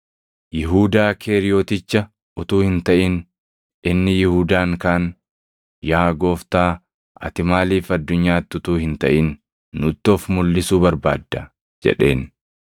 Yihuudaa Keeriyoticha utuu hin taʼin inni Yihuudaan kaan, “Yaa Gooftaa, ati maaliif addunyaatti utuu hin taʼin nutti of mulʼisuu barbaadda?” jedheen.